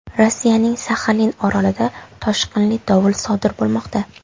Rossiyaning Saxalin orolida toshqinli dovul sodir bo‘lmoqda.